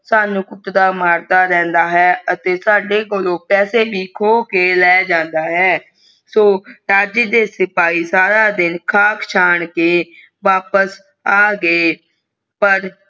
ਸਾਨੂ ਕੁਟਦਾ ਮਾਰਦਾ ਰਹਿੰਦਾ ਹੈ ਅਤੇ ਸਾਡੇ ਕੋਲੋਂ ਪੈਸੇ ਵੀ ਖੋ ਕੇ ਲੈ ਜਾਂਦਾ ਹੈ ਰਾਜੇ ਦੇ ਸਿਪਾਹੀ ਦਾਰਾ ਦਿਨ ਖਾਕ ਚੰਨ ਕੇ ਵਾਪਸ ਆ ਗਏ